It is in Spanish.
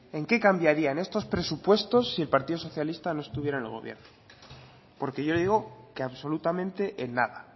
en qué cambiarían estos presupuestos si el partido socialista no estuviera en el gobierno porque yo le digo que absolutamente en nada